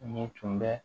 Ni tun bɛ